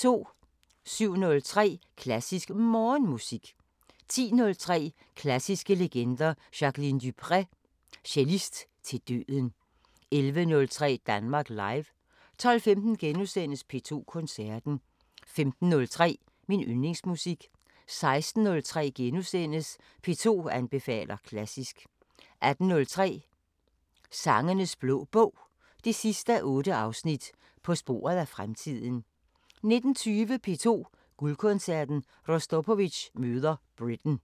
07:03: Klassisk Morgenmusik 10:03: Klassiske legender: Jacqueline du Pré – Cellist til døden 11:03: Danmark Live 12:15: P2 Koncerten * 15:03: Min Yndlingsmusik 16:03: P2 anbefaler klassisk * 18:03: Sangenes Blå Bog 8:8 – På sporet af fremtiden 19:20: P2 Guldkoncerten: Rostropovitj møder Britten